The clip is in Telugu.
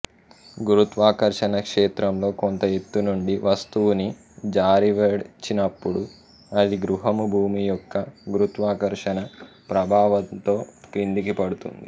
గురుత్వాకర్షణ క్షేత్రంలో కొంత ఎత్తునుండి వస్తువుని జారవిడిచినపుడు అది గ్రహము భూమి యొక్క గురుత్వాకర్షణ ప్రభావంతో క్రిందికి పడుతుంది